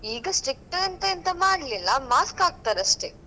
ಈಗ strict ಅಂತ ಎಂತ ಮಾಡ್ಲಿಲ್ಲ, mask ಹಾಕ್ತರಷ್ಟೇ.